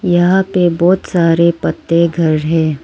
यहां पे बहोत सारे पत्ते घर है।